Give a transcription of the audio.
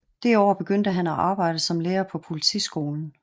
Det år begyndte han at arbejde som lærer på politiskolen